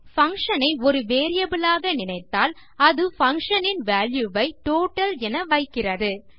function ஐ ஒரு variable ஆக நினைத்தால் அது பங்ஷன் இன் வால்யூ வை டோட்டல் என வைக்கிறது